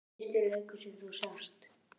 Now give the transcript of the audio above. Fyrsti leikur sem þú sást?